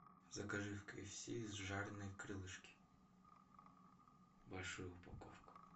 закажи в киэфси жареные крылышки большую упаковку